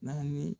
Naani